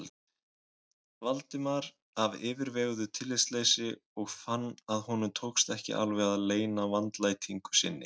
Valdimar af yfirveguðu tillitsleysi og fann að honum tókst ekki alveg að leyna vandlætingu sinni.